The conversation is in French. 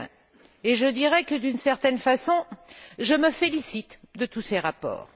2001. Je dirai que, d'une certaine façon, je me félicite de tous ces reports.